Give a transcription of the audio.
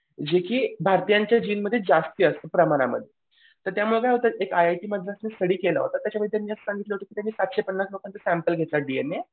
जेकी भारतीयांच्याजिनमध्ये जास्ती असतं प्रमाणामध्ये. तर त्यामुळे काय होतं एक आय आय टी स्टडी केला होता त्याच्याने त्यांनी त्यात सांगितलं होतं की सातशे पन्नास लोकांचा सॅम्पल घेतला डीएनए